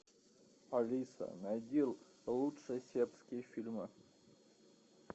алиса найди лучшие сербские фильмы